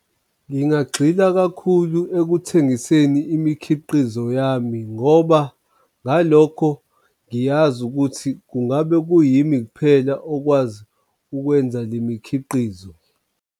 Ngingagxila kakhulu ekuthengiseni imikhiqizo yami ngoba ngalokho ngiyazi ukuthi kungabe kuyimi kuphela okwazi ukwenza le mikhiqizo.